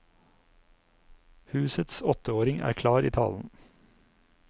Husets åtteåring er klar i talen.